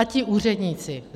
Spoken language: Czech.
A ti úředníci.